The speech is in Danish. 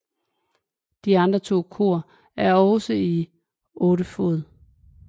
De andre to kor er også to 8 fod